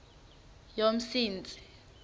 yomsintsi